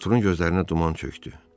Arturunun gözlərinə duman çökdü.